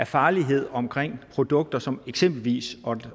farlighed omkring produkter som eksempel